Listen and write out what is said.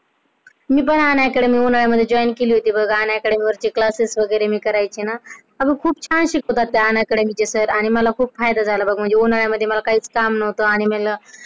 Me the UnacademyJoin केली होती पण Unacademy Classes वगैरे मी करायचे ना पण खूप छान शिकवतात ते Unacademy न चे सर मला खूप फायदा झाला बघ उन्हाळ्यामध्ये मला काहीच काम नव्हतं.